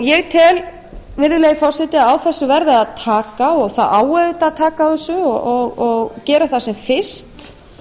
ég tel virðulegi forseti að á þessu verði að taka og það á auðvitað að taka á þessu og gera það sem fyrst